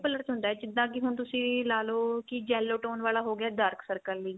color ਚ ਹੁੰਦਾ ਜਿੱਦਾਂ ਕੀ ਹੁਣ ਤੁਸੀਂ ਲਾ ਲੋ ਕੀ yellow tone ਵਾਲਾ ਹੋ ਗਿਆ dark circle ਲਈ